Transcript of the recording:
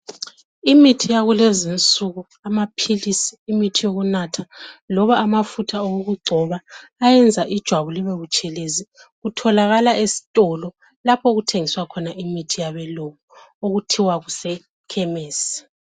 imithi yakulezinsuku amaphilisi imithi yokunatha loba amafutha okugcoba ayenza ijwabu libebutshelezi kutholakala esitolo lapho okuthengiswa khona imithi yabelungu okuthiwa kuse khemesi